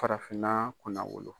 Farafinna kunnawolo.